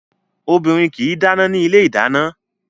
Obìnrin kì í dáná ní ilé ìdáná